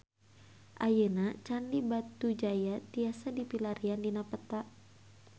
Ayeuna Candi Batujaya tiasa dipilarian dina peta